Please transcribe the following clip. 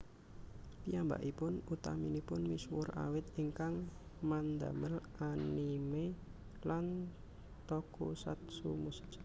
Piyambakipun utaminipun misuwur awit ingkang mandamel anime lan tokusatsu musik